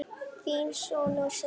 Þinn sonur, Sindri.